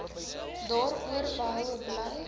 daaroor behoue bly